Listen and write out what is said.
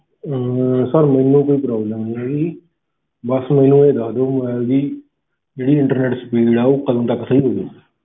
ਅਹ sir ਮੈਨੂੰ ਕੋਈ problem ਨੀ ਹੈਗੀ ਬਸ ਮੈਨੂੰ ਇਹ ਦਸ ਦਓ ਵੀ mobile ਦੀ ਜਿਹੜੀ internet speed ਆ ਕਦੋਂ ਤੱਕ ਸਹੀ ਹੋਵੇਗੀ?